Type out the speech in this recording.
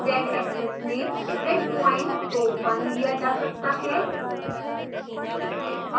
z-axis में grid point को 1 लिया जा सकता है